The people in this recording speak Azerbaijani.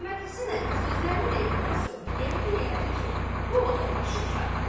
Məhəmməd Həsən əmi sözlərini deyəndən sonra yəqin elədi ki, bu o da başı kardır.